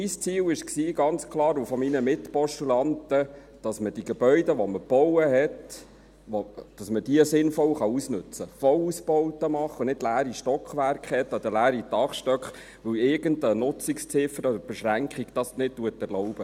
Mein Ziel und das meiner Mitpostulaten war ganz klar, dass man die Gebäude, die man gebaut hat, sinnvoll ausnutzen kann – Vollausbauten machen und nicht leere Stockwerke oder leere Dachstöcke haben, weil irgendeine Nutzungsziffer oder Beschränkung das nicht erlaubt.